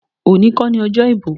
Today isn't election day.